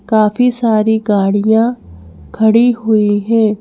काफी सारी गाड़ियां खड़ी हुई हैं ।